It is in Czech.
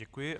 Děkuji.